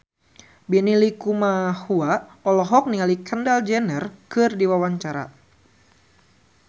Benny Likumahua olohok ningali Kendall Jenner keur diwawancara